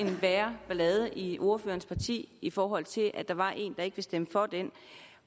værre ballade i ordførerens parti i forhold til at der var en der ikke ville stemme for den